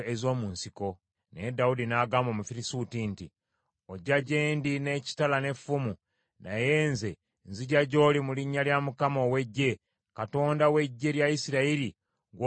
Naye Dawudi n’agamba Omufirisuuti nti, “Ojja gye ndi n’ekitala n’effumu, naye nze nzija gy’oli mu linnya lya Mukama ow’eggye, Katonda w’eggye lya Isirayiri gw’osoomooza.